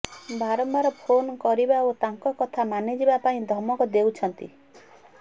ବାରମ୍ବାର ଫୋନ କରିବା ଓ ତାଙ୍କ କଥା ମାନିଯିବା ପାଇଁ ଧମକ ଦେଉଛନ୍ତି